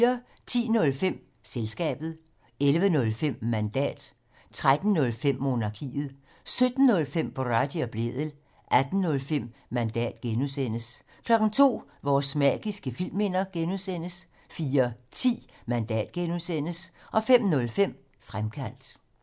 10:05: Selskabet 11:05: Mandat 13:05: Monarkiet 17:05: Boraghi og Blædel 18:05: Mandat (G) 02:00: Vores magiske filmminder (G) 04:10: Mandat (G) 05:05: Fremkaldt